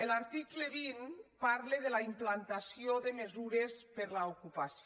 l’article vint parla de la implantació de mesures per a l’ocupació